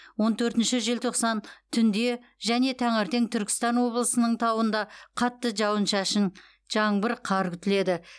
он төртінші желтоқсан түнде және таңертең түркістан облысының тауында қатты жауын шашын жаңбыр қар күтіледі